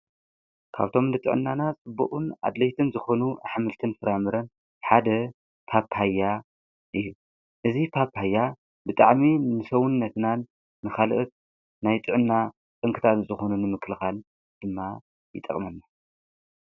ካብቶም ልጥዖናና ጽቡዑን ኣድለይትን ዝኾኑ ኣኅምልትን ፍራምርን ሓደ ጳጳያ እዩ እዙ ጳጳያ ብጣዕሜ ንሰውን ነትናን ንኻልእት ናይ ጥዕና ቕንክታት ዝኾኑን ምክልኻል ድማ ይጠቕመኒ።